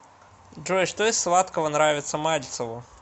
джой что из сладкого нравится мальцеву